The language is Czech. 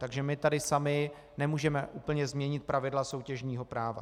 Takže my tady sami nemůžeme úplně změnit pravidla soutěžního práva.